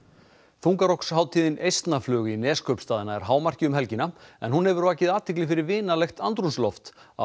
þungarokkshátíðin Eistnaflug í Neskaupstað nær hámarki um helgina en hún hefur vakið athygli fyrir vinalegt andrúmsloft á